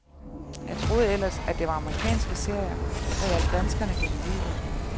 Jeg troede ellers, at det var amerikanske serier, der hjalp danskerne gennem livet.